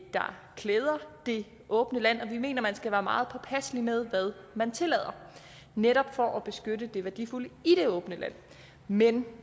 der klæder det åbne land og vi mener man skal være meget påpasselig med hvad man tillader netop for at beskytte det værdifulde i det åbne land men